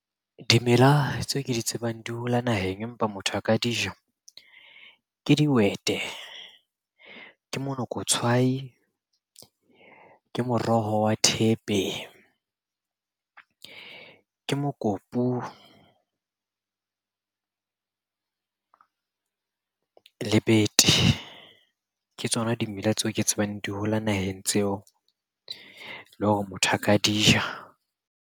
Dimela tseo ke di tsebang di hola naheng, empa motho a ka dija. Ke dihwete, ke monokotshwai, ke moroho wa thepe, ke mokopu le bete. Ke tsona dimela tseo ke tsebang di hola naheng tseo, le hore motho a ka di ja.